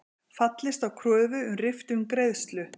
Fallist á kröfu um riftun greiðslu